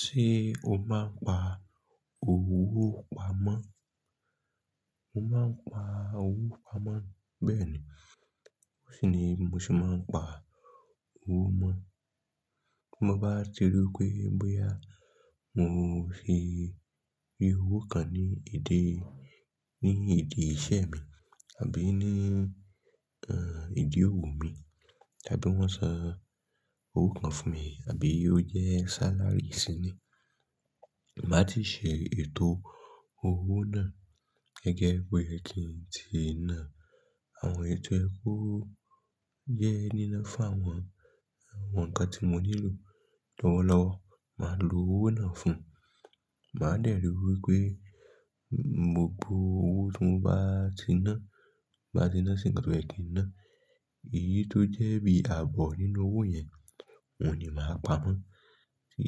Ṣé o máa ń pa owó pamọ́? Mo máa ń pa owó pamọ́. Bẹ́ẹ̀ni. Ó sì ní bí mó ṣe máa ń pa owó mó. Bí mo bá ti rí pé bóyá mọ fi owó kan ní ìdí, ní ìdí iṣẹ́ mi àbí ní, ẹ́, ìdí òwò mi, àbí wọ́n san owó kan fún mi, àbí ó jẹ́ salary sí ní i. Máa ti ṣe ètò owó náà gẹ́gẹ́ bí ki n ti ná. Àwọn èyi to ye ko jẹ́ nínà fún àwọn, àwọn ǹkan tí mo nílò lọ́wọ́lọ́wọ́. Màá lo owó náà fún un. Màá dẹ́ ri wípé gbogbo owó tí mo bá ti ná, ti n bá ti ná sí ǹkan tó ye ki n ná, èyí tó jẹ́ bí ààbọ̀ nínú owó yẹn, òun ni màá pamọ́. Tí,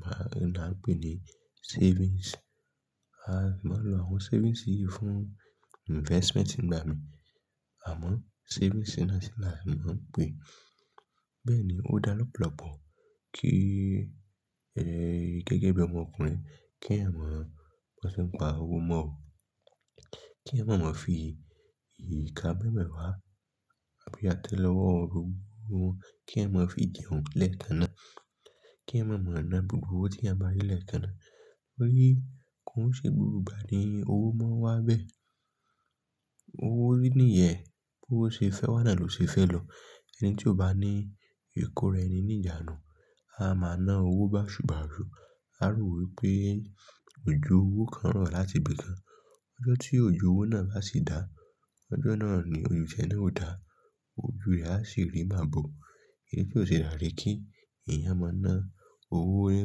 màá, la n pè ní savings. A máa ń lo àwọn savings yìí fún investment nigbà mii. Àmọ́ savings náà sì là á má ń pè. Bẹ́ẹ̀ ni, ó dára lọ́pọ̀lọpọ̀ kí, ẹ́, gẹ́gẹ́ bí ọmọkùnrin kí eeyan mo, bi wọ́n se ń pa owó mó o. Kí eeyan ma máa fi ìka meweewa àbí àtẹ́lewọ́, kí eeyan ma fi jẹun lẹ́ẹ̀kanà. Kí eeyan má maa na gbogbo owó tí eeyan bá n rí lẹ́ẹ̀kanà. Torí, ko n ṣe gbogbo ìgbà ní owó máa n wá bẹ́ẹ̀. Owó ní ìyẹ́, bó ṣe fẹ́ wá náà ló ṣe fẹ́ lọ. Ẹni tí ò bá ní ìkóra ẹni ní ìjánu, a máa na owó bàṣùbàṣù. A rò wípé òjò owó kan rọ̀ láti ibi kan. Ọjọ́ tí òjò owó náà bá sì dá, ọjọ́ náà ni tie náà ó dá. Ojú rẹ̀ á sì rí mabò. Èyí tí ó ṣi daa ni kí eeyàn máa na owó rẹ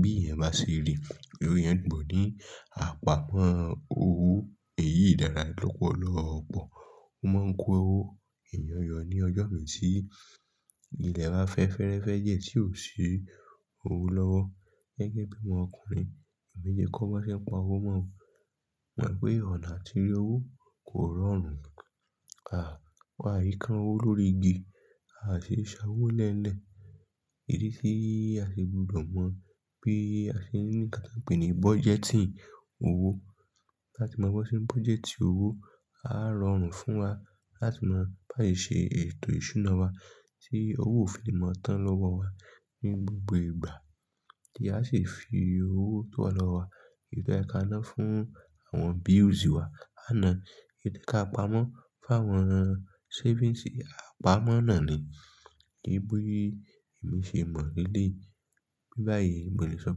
bí eeyan bá se ri. Òwe yẹn dùn bọ̀ ni. Àpa pọ́n owó èyí dára lọ́pọ̀lọpọ̀. Ó máa ń kó owó ìyọ̀nyọ̀ ní ọjọ́ méjì sí ilẹ̀ bá fẹ́ fẹ́rẹ́ fẹ́ jẹ tí ò sí owó lọ́wọ́. Gẹ́gẹ́ bí ọmọkùnrin, èmi ti kó bá ṣe pa owó mó. Mọ̀ pé ọ̀nà àti rí owó kò rọrùn. A, wà á yí ká owó lórí igi, a sì sa owó lẹ́lẹ̀. Idi ti a si gbúdọ̀ mọ̀ bí a ṣe ní ǹkan ta n pè ní budgeting owó. Láti mọ bí wọ́n ṣe budgeting owó, á rọrùn fún wa láti má bà á ṣe ètò ìṣúná wa tí owó ó fi ni máa tán lọ́wọ́ wa ní gbogbo ìgbà. Tí a sì fi owó tó wà lọ́wọ́ wa, eyi toye ka náà fún àwọn bills wa. Àná, èyí to ye ká pamọ́ fún àwọn savings, a pamọ́ náà ni. Bí bí èmi ṣe mọ̀ léleyi. Bí báyìí, mo lè sọ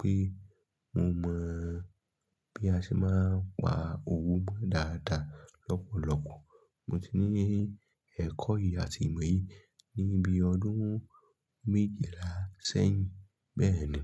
pé mo mọ̀ bí a ṣe máa ń pa owó mó dáadáa lọ́pọ̀lọpọ̀. Mo ti ní ẹ̀kọ́ yìí àti ìmọ̀ yìí ní bí ọdún méjìlá sẹ́yìn. Bẹ́ẹ̀ni.